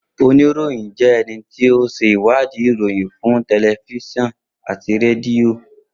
Onirohin jẹ́ ẹni tí ó ṣe wadi ìròyìn fún tẹlifiṣionu àti rẹdìo